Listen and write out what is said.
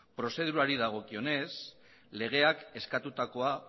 prozedurari dagokionez legeak eskatutakoa